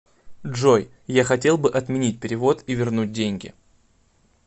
джой я хотел бы отменить перевод и вернуть деньги